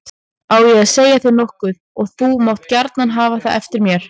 Á ég að segja þér nokkuð og þú mátt gjarna hafa það eftir mér.